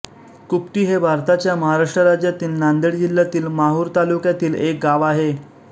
कुपटी हे भारताच्या महाराष्ट्र राज्यातील नांदेड जिल्ह्यातील माहूर तालुक्यातील एक गाव आहे